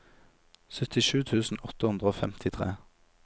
syttisju tusen åtte hundre og femtitre